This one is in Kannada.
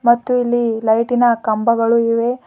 ಮತ್ತು ಇಲ್ಲಿ ಲೈಟಿನ ಕಂಬಗಳು ಇವೆ.